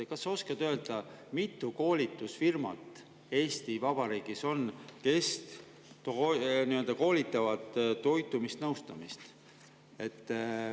Kas sa oskad öelda, mitu koolitusfirmat Eesti Vabariigis on, kes toitumisnõustamise koolitust?